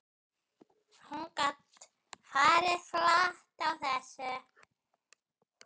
Hún gat farið flatt á þessu.